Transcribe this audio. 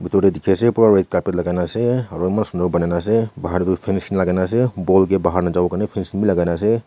dur teh dikhi ase pura red carpet laga na ase aro eman sundar bannai na ase bahar tu finish lagai na ase ball ke bahar na jabo kane fancing bhi lagai na ase.